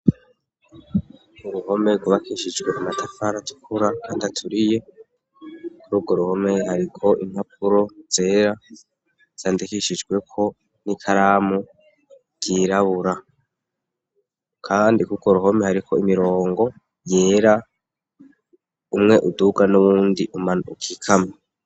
Uruhome rwubakishijwe amatafara atukura kandi aturiye, kuri urwo ruhome hariko impapuro zera, zandekishijwe ko n'ikaramu ryirabura ,kandi kurwo ruhome hariko imirongo yera, umwe uduga ,n'uwundi ukikama.